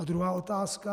A druhá otázka.